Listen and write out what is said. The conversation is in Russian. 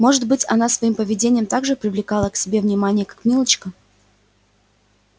может быть она своим поведением так же привлекала к себе внимание как милочка